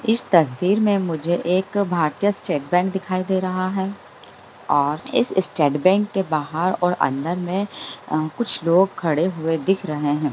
इस तस्वीर में मुझे एक भारतीय स्टेट बैंक दिखाई दे रहा है और इस स्टेट बैंक के बाहर और अंदर में अ कुछ लोग खड़े हुए दिख रहे हैं।